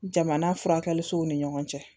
Jamana furakɛli sow ni ɲɔgɔn cɛ